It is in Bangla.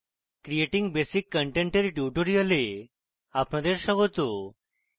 creating basic content এর tutorial আপনাদের স্বাগত